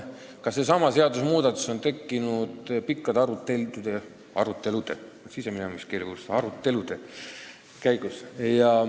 Ka seesama seadusmuudatus on tekkinud pikkade arutelude käigus.